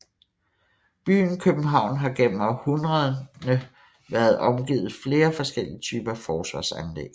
Byen København har gennem århundrederne været omgivet flere forskellige typer forsvarsanlæg